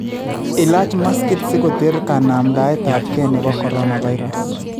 Ilaach maskit si koteer kanamdaetapkee nepo coronavirus